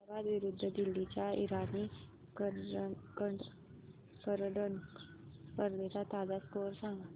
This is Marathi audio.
हैदराबाद विरुद्ध दिल्ली च्या इराणी करंडक स्पर्धेचा ताजा स्कोअर सांगा